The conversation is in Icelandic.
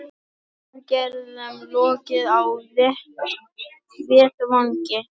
Aðgerðum lokið á vettvangi